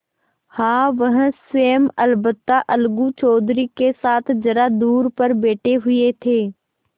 हाँ वह स्वयं अलबत्ता अलगू चौधरी के साथ जरा दूर पर बैठे हुए थे